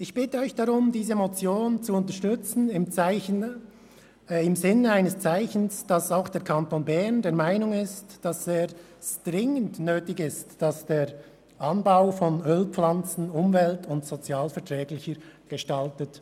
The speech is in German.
Ich bitte Sie deshalb, diese Motion im Sinn eines Zeichens dafür zu unterstützen, dass auch der Kanton Bern der Meinung ist, es sei dringend nötig, den Anbau von Ölpflanzen umwelt- und sozialverträglicher zu gestalten.